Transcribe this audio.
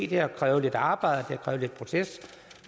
det har krævet lidt arbejde